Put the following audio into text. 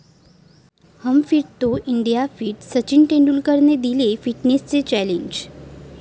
हम fit तो India fit, Sachin तेंडुलकरनं दिलं फिटनेस चॅलेंज